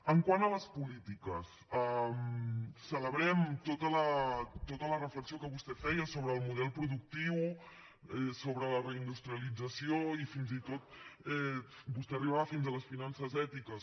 quant a les polítiques celebrem tota la reflexió que vostè feia sobre el model productiu sobre la reindustrialització i fins i tot vostè arribava fins a les finances ètiques